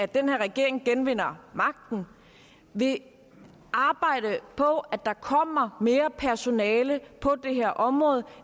den her regering genvinder magten vil arbejde på at der kommer mere personale på det her område